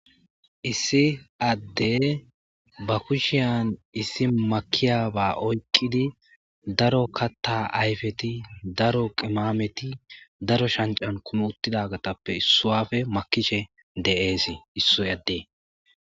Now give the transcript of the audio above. Issi adde ba kushshiyan issi makiyaba ooyqqidi daaro kaththa ayyfeti daaro qimameti daaro shaanccani kuumi uththidagattappe issuwape makkishe dees issi ade